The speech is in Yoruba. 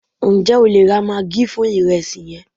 njé o le ra maggi fún iresi yen